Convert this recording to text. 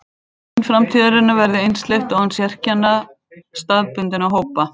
Hvort mannkyn framtíðarinnar verði einsleitt og án sérkenna staðbundinna hópa.